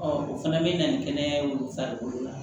o fana bɛ na ni kɛnɛyaw farikolo la